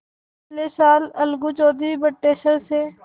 पिछले साल अलगू चौधरी बटेसर से